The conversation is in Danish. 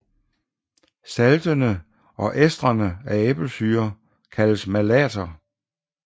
Saltene og estrene af æblesyre kaldes malater